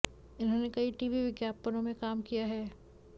इन्होंने कई टीवी विज्ञापनों में काम किया है